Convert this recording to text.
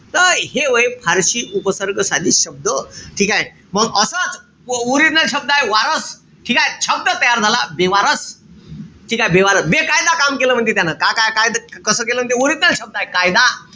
त हे व्हय फारशी उपसर्ग साधित शब्द. ठीकेय? मंग असच original शब्दय वारस. ठीकेय? शब्द तयार झाला. बेवारस. ठीकेय? बेवारस. बेकायदा काम केलं म्हणती त्यानं. का का काय त कस केलं म्हणती. Original शब्द आहे कायदा.